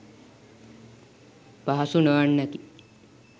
පහසු නොවන්නකි.